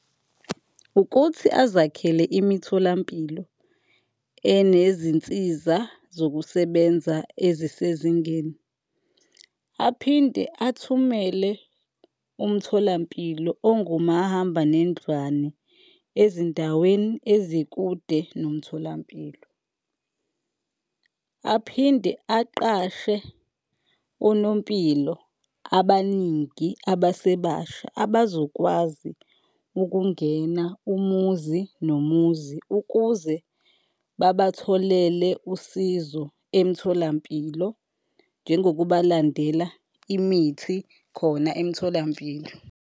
Ukuthi azakhele imitholampilo enezinsiza zokusebenza ezisezingeni aphinde athumele umtholampilo ongumahambanendlwane ezindaweni ezikude nomtholampilo. Aphinde aqashe onompilo abaningi abasebasha abazokwazi ukungena umuzi nomuzi ukuze babatholele usizo emtholampilo, njengokubalandela imithi khona emtholampilo.